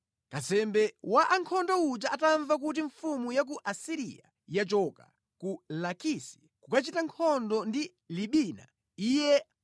Kazembe wa ankhondo uja atamva kuti mfumu ya ku Asiriya yachoka ku Lakisi, iye anabwerera mʼmbuyo ndipo anakapeza mfumu ikuchita nkhondo ndi mzinda wa Libina.